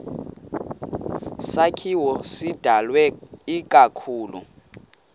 sakhiwo sidalwe ikakhulu